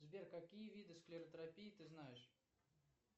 сбер какие виды склеротропии ты знаешь